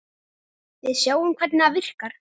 Við sjáum hvernig það virkar.